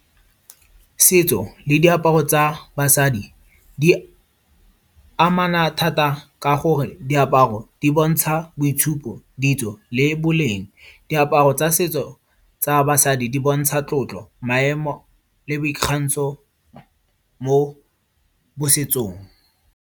Setso le diaparo tsa basadi, di amana thata ka gore diaparo di bontsha boitshupo ditso le boleng. Diaparo tsa setso tsa basadi di bontsha tlotlo, maemo le boikgantsho mo setsong.